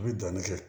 U bɛ danni kɛ